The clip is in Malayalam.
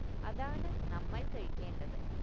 അതാണ് നമ്മൾ കഴിക്കേണ്ടത്